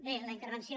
bé la intervenció